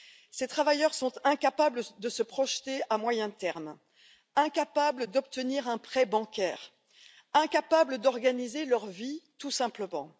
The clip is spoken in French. Ces travailleurs sont incapables de se projeter à moyen terme, incapables d'obtenir un prêt bancaire, incapables d'organiser leur vie, tout simplement.